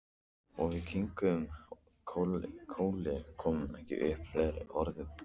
Og við kinkuðum kolli, komum ekki upp fleiri orðum.